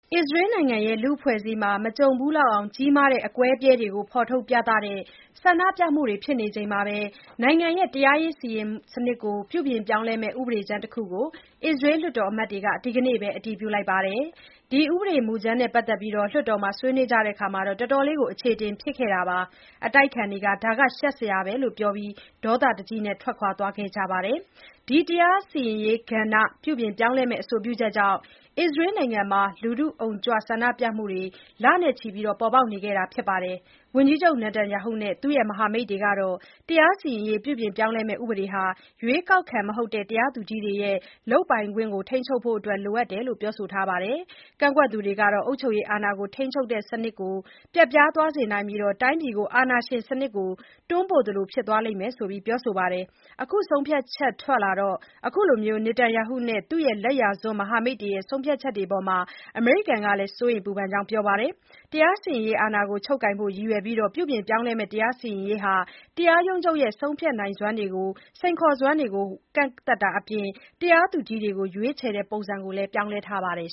အစ္စရေးနိုင်ငံရဲ့ လူ့အဖွဲ့အစည်းမှာ မကြုံဖူးလောက်အောင် ကြီးမားတဲ့ အကွဲအပြဲတွေကို ဖော်ထုတ်ပြသတဲ့ ဆန္ဒပြမှုတွေဖြစ်နေချိန်မှာ နိုင်ငံရဲ့ တရားစီရင်ရေးစနစ်ကို ပြုပြင်ပြောင်းလဲမယ့် ဥပဒေကြမ်းကိုတခုကို အစ္စရေးလွှတ်တော်အမတ်တွေက ဒီနေ့ပဲ အတည်ပြုခဲ့ပါတယ်။ ဒီဥပဒေမူကြမ်းနဲ့ ပတ်သတ်ပြီး လွှတ်တော်မှာဆွေးနွေးကြတော့ တော်တော်အခြေအတင် ဖြစ်ခဲ့ပြီးနောက် အတိုက်အခံတွေက ဒါဟာ ရှက်စရာပဲလို့ပြောပြီး ဒေါသတကြီး ထွက်သွားခဲ့ကြပါတယ်။ ဒီတရားစီရင်ရေးကဏ္ဍ ပြုပြင်ပြောင်းလဲမယ့် အဆိုပြုချက်ကြောင့် အစ္စရေးနိုင်ငံမှာ လူထုအုံကြွတဲ့ ဆန္ဒပြပွဲတွေဟာ လနဲ့ချီပြီး ပေါ်ပေါက်နေခဲ့တာပါ။ ဝန်ကြီးချုပ် Netanyahu နဲ့ သူ့ရဲ့ မဟာမိတ်တွေကတော့ တရားစီရင်ရေး ပြုပြင်ပြောင်းလဲမယ့် ဥပဒေဟာ ရွေးကောက်ခံ မဟုတ်တဲ့ တရားသူကြီးတွေရဲ့ လုပ်ပိုင်ခွင့်ကို ထိန်းချုပ်ဖို့အတွက် လိုအပ်တယ်လို့ပြောဆိုပါတယ်။ ကန့်ကွက်သူတွေကတော့ အုပ်ချုပ်ရေးအာဏာကို ထိန်းချုပ်တဲ့ စနစ်ကို ပျက်ပြားသွားစေနိုင်ပြီး တိုင်းပြည်ကို အာဏာရှင်စနစ်ဆီ တွန်းပို့သလို ဖြစ်သွားလိမ့်မယ်လို့ ပြောဆိုပါတယ်။ အခုဆုံးဖြတ်ချက်ထွက်လာတော့ အခုလို Netanyahu နဲ့ သူ့ရဲ့လက်ယာစွန်းမဟာမိတ်တွေရဲ့ ဆုံးဖြတ်ချက်တွေအပေါ် အမေရိကန်ကလည်း စိုးရိမ်ပူပန်ကြောင်း ပြောပါတယ်။ တရားစီရင်ရေးအာဏာကို ချုပ်ကိုင်ဖို့ရည်ရွယ်ပြီး ပြုပြင်ပြောင်းလဲမယ့် တရားစီရင်ရေးမှာ တရားရုံးချုပ်ရဲ့ ဆုံးဖြတ်ချက်တွေကို စိန်ခေါ်နိုင်စွမ်းကို ကန့်သတ်တာအပြင်၊ တရားသူကြီးတွေကို ရွေးချယ်တဲ့ပုံစံကိုလည်း ပြောင်းလဲထားပါတယ်